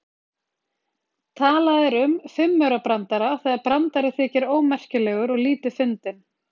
Talað er um fimmaurabrandara þegar brandari þykir ómerkilegur og lítið fyndinn.